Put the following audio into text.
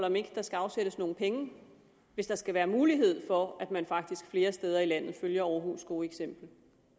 om ikke der skal afsættes nogle penge hvis der skal være mulighed for at man faktisk flere steder i landet følger aarhus gode eksempel